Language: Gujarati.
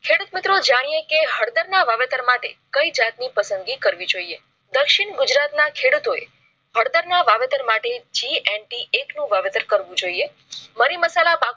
ખેડૂત મિત્રો જાણીએ કે હળધર ના વાવેતર માટે કઈ જાત ની પસંદગી કરવી જોઇએ? દક્ષિણ ગુજરાત ના ખેડૂતોએ હળધર વાવેતર માટે. g anti એક નું વાવેતર કરવું જોઈએ મરી મસાલા પાકો માં